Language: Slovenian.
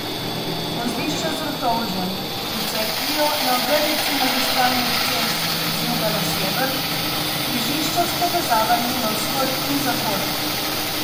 Vozlišča z rotovžem in cerkvijo na ogrlici magistralnih cest z juga na sever, križišča s povezavami na vzhod in zahod.